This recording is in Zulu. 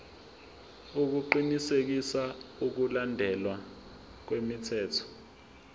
ukuqinisekisa ukulandelwa kwemithetho